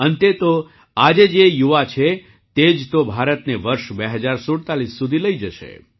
અંતે તો આજે જે યુવા છે તે જ તો ભારતને વર્ષ ૨૦૪૭ સુધી લઈ જશે